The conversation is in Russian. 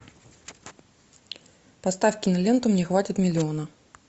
поставь киноленту мне хватит миллиона